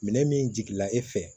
Minɛn min jigila e fɛ